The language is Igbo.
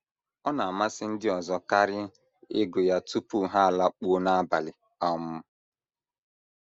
* Ọ na - amasị ndị ọzọ karị ịgụ ya tupu ha alakpuo n’abalị um.